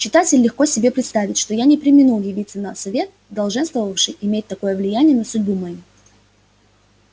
читатель легко себе представит что я не преминул явиться на совет долженствовавший иметь такое влияние на судьбу мою